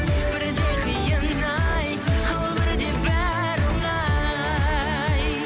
бірде қиын ай ал бірде бәрі оңай